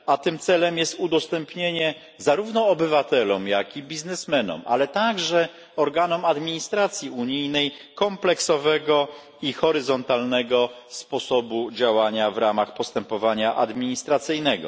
A tym celem jest udostępnienie, zarówno obywatelom, jak i biznesmenom, ale także organom administracji unijnej kompleksowego i horyzontalnego sposobu działania w ramach postępowania administracyjnego.